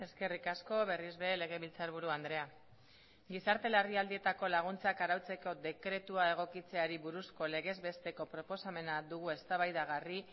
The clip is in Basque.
eskerrik asko berriz ere legebiltzarburu andrea gizarte larrialdietako laguntzak arautzeko dekretua egokitzeari buruzko legez besteko proposamena dugu eztabaidagarri